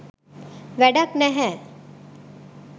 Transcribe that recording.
වැඩක් නැහැ.